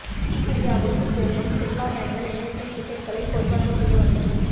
சீகிரியாவுக்கு செல்லும் சுற்றுலா பயணிகள் இணையத்தில் டிக்கெட்டுகளை கொள்வனவு செய்ய வசதி